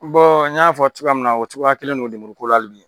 n y'a fɔ cogoya min na, o cogoya kelen don lemuru ko la hali bi.